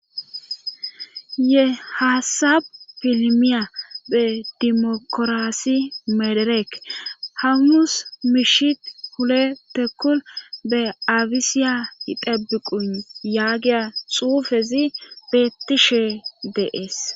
ye haasabu pilimiya be dimokoraassi medereek hamumus miishi hule tekkul be abisiya idabi quyn yaagiya xuufezi beettishe deees